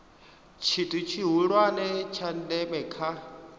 tshithu tshihulwane tsha ndeme kha